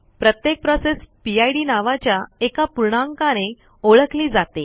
प्रत्येक process PID नावाच्या एका पूर्णांकाने ओळखली जाते